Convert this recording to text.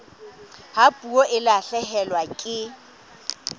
ha puo e lahlehelwa ke